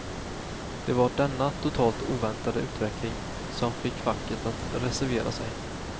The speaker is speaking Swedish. Det var denna totalt oväntade utveckling som fick facket att reservera sig.